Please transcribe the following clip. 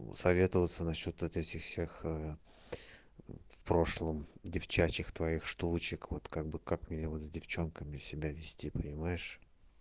ну советоваться насчёт вот этих всех в прошлом девчачьих твоих штучек вот как бы как мне вот с девчонками себя вести понимаешь